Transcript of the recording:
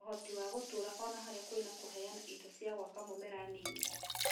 ũhoti wa gũtũra ona harĩa kwĩna kũheana indo cia gwaka mũmera Nini